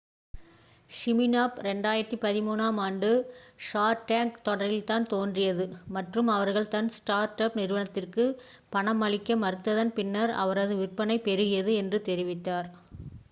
Smirnoff 2013 ஆம் ஆண்டு Shark Tank தொடரில் தான் தோன்றியது மற்றும் அவர்கள் தன் ஸ்டார்ட் அப் நிறுவனத்திற்கு பணம் அளிக்க மறுத்ததன் பின்னர் அவரது விற்பனை பெருகியது என்று தெரிவித்தார்